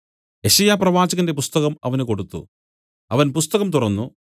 യെശയ്യാപ്രവാചകന്റെ പുസ്തകം അവന് കൊടുത്തു അവൻ പുസ്തകം തുറന്നു